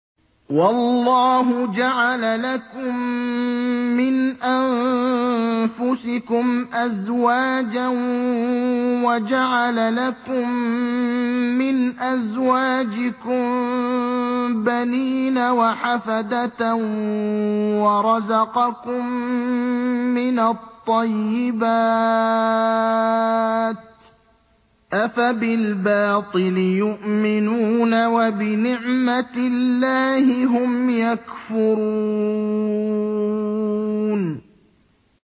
وَاللَّهُ جَعَلَ لَكُم مِّنْ أَنفُسِكُمْ أَزْوَاجًا وَجَعَلَ لَكُم مِّنْ أَزْوَاجِكُم بَنِينَ وَحَفَدَةً وَرَزَقَكُم مِّنَ الطَّيِّبَاتِ ۚ أَفَبِالْبَاطِلِ يُؤْمِنُونَ وَبِنِعْمَتِ اللَّهِ هُمْ يَكْفُرُونَ